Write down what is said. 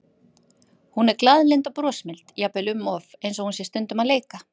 Hún er glaðlynd og brosmild, jafnvel um of, eins og hún sé stundum að leika.